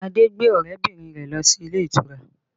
Adé gbé ọrẹ bìnrin rẹ lọ sí ilé ìtura